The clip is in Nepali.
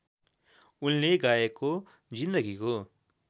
उनले गाएको जीन्दगीको